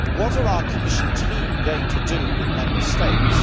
What are our Commission team going to do with Member States?